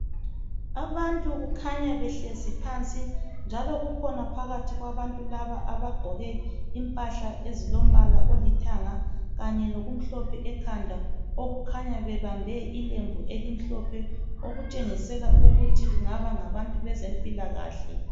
Abantu kukhanya behlezi phansi, njalo kukhona phakathi kwabantu laba abagqoke impahla ezilombala olithanga, kanye lokumhlophe ekhanda, okukhanya bebambe ilembu elimhlophe, okutshengisela ukuthi kungaba ngabantu bezempilakahle.